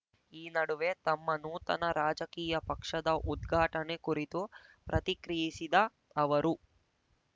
ಈ ನಡುವೆ ತಮ್ಮ ನೂತನ ರಾಜಕೀಯ ಪಕ್ಷದ ಉದ್ಘಾಟನೆ ಕುರಿತು ಪ್ರತಿಕ್ರಿಯಿಸಿದ ಅವರು